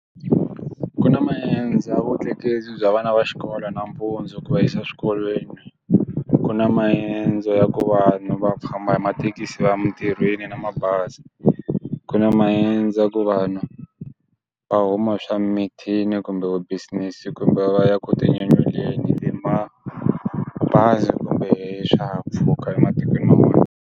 Ku na maendzo ya vutleketli bya vana va xikolo nampundzu ku va yisa eswikolweni ku na maendzo ya ku vanhu va famba hi mathekisi va ya emitirhweni na mabazi, ku na maendzo a ku vanhu va huma swa mithini kumbe business kumbe va ya ku tinyanyuleni mabazi kumbe hi swihahampfhuka ematikweni man'wani.